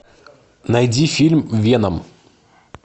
найди фильм веном